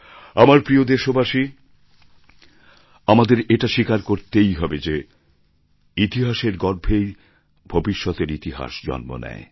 আমার প্রিয় দেশবাসী আমাদের এটা স্বীকার করতেই হবে যে ইতিহাসের গর্ভেই ভবিষ্যতের ইতিহাস জন্ম নেয়